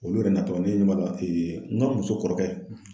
Olu yɛrɛ natɔ ne n ka muso kɔrɔkɛ.